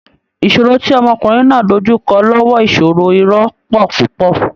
Ìṣòro tí ọmọkùnrin náà dojú kọ lọ́wọ́ ìṣòro-irọ̀ pọ̀ púpọ̀